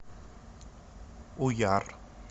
уяр